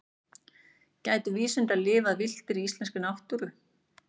gætu vísundar lifað villtir í íslenskri náttúru